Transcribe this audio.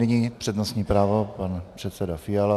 Nyní přednostní právo pan předseda Fiala.